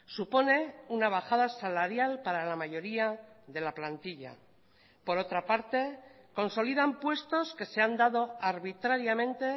supone una bajada salarial para la mayoría de la plantilla por otra parte consolidan puestos que se han dado a arbitrariamente